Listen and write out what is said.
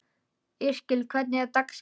Yrkill, hvernig er dagskráin?